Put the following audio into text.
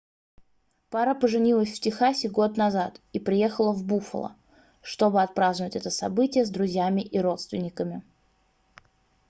пара поженилась в техасе год назад и приехала в буффало чтобы отпраздновать это событие с друзьями и родственниками